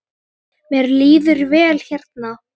Mér líður vel hérna.